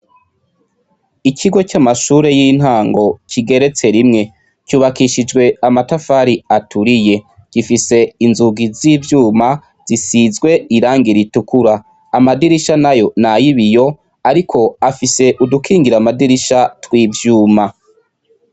Ikigo c'amashure y'intango kigereyse rimwe, cubakishijwe amatafari aturiye, gifise inzugi z'ivyuma zisizee irangi ritukura, amadirisha nayo nay'ibiyo ariko afise udukingira amadirisha tw'ivyuma.